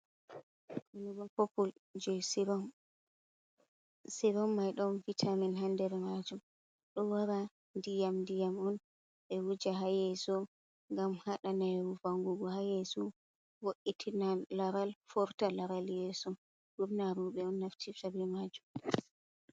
Rooba popul jei sirom, sirom mai ɗon vitamin ha nder majum ɗo wara ndiyam ndiyam on ɓe wuja ha yeeso, ngam haɗa nayewu vangugo ha yeeso vo’itina, laral, forta laral yeeso, ɓurna rooɓe on naftirta be majum.